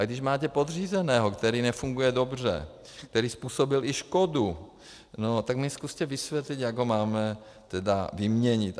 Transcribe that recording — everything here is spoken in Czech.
A když máte podřízeného, který nefunguje dobře, který způsobil i škodu, tak mi zkuste vysvětlit, jak ho máme vyměnit.